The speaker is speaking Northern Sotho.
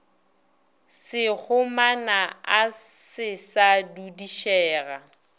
sekgomana a se sa dudišega